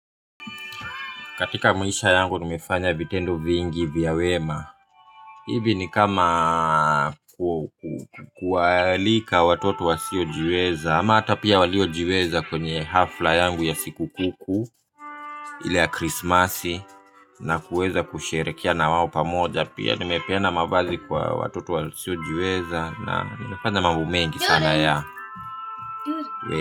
Katika maisha yangu nimefanya vitendo vingi vya wema. Hivi ni kama kualika watoto wasiojiweza ama hata pia waliojiweza kwenye hafla yangu ya siku kuu. Ile ya krisimasi na kuweza kusherehekea na wao pia. Nimepea mabali kwa watoto wasiojiweza na nimefanya mambo mengi sana.